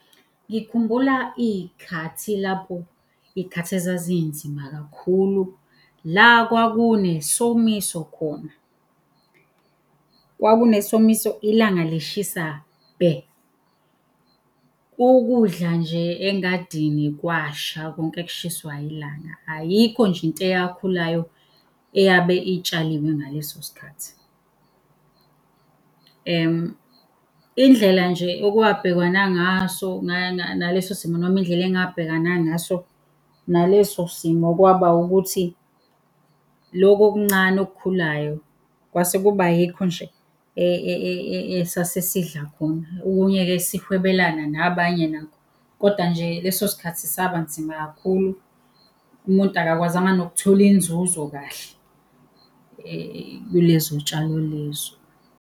Ngikhumbula iy'khathi lapho, iy'khathi ezazinzima kakhulu, la kwakunesomiso khona. Kwakunesomiso ilanga lishisa bhe, ukudla nje engadini kwasha konke kushiswa ilanga, ayikho nje into eyakhulayo eyabe itshaliwe ngaleso sikhathi. Indlela nje okwabhekwana ngaso naleso simo noma indlela engabhekana ngaso naleso simo, kwaba ukuthi lokhu okuncane okukhulayo kwase kuba yikho nje esase sidla khona, okunye-ke sihwebelana nabanye nakho. Kodwa nje leso sikhathi saba nzima kakhulu umuntu akakwazanga nokuthola inzuzo kahle kulezo tshalo lezo.